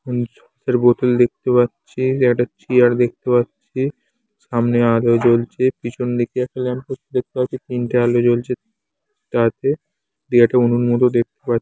বোতল দেখতে পাচ্ছি দিয়ে একটা চেয়ার দেখতে পাচ্ছি সামনে আলো জ্বলছে পেছনদিকে একটি ল্যাম্প পোস্ট দেখতে পাচ্ছি তিনটে আলো জ্বলছে তা তে দিয়ে একটা উনুন মতো দেখতে পা--